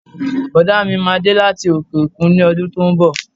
Bọ̀dá mi máa dé láti òkè-òkun ní ọdún tó ń bọ̀